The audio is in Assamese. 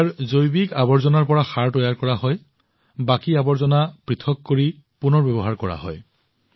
ইয়াত থকা জৈৱিক আৱৰ্জনাবোৰ পচন সাৰৰ বাবে তৈয়াৰ কৰা হয় বাকী বস্তুবোৰ পৃথক কৰি পুনৰ ব্যৱহাৰ কৰা হয়